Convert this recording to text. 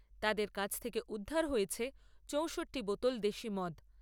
তাদের কাছ থেকে উদ্ধার হয়েছে চৌষট্টি বোতল দেশী মদ।